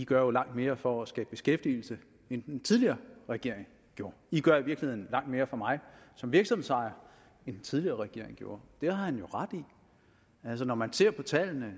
gør langt mere for at skabe beskæftigelse end den tidligere regering gjorde i gør i virkeligheden langt mere for mig som virksomhedsejer end den tidligere regering gjorde det har han jo ret i altså når man ser på tallene